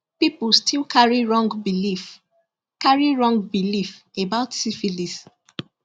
people still carry wrong belief carry wrong belief about syphilis